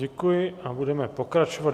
Děkuji a budeme pokračovat.